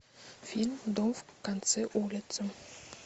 фильм дом в конце улицы